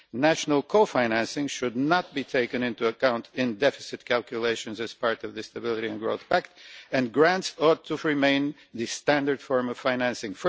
National co financing should not be taken into account in deficit calculations as part of the Stability and Growth Pact, and grants ought to remain the standard form of financing.